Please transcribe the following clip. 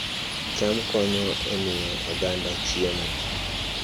Cham konyo e miyo oganda chiemo